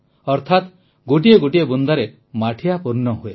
ଅର୍ଥାତ ଗୋଟିଏ ଗୋଟିଏ ବୁନ୍ଦାରେ ମାଠିଆ ପୂର୍ଣ୍ଣ ହୁଏ